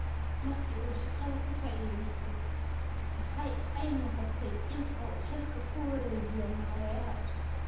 Markii uu shaqada ka fadhiistay, waxa ay noqotay in uu xilka ku wareejiyo maareeyaha cusub.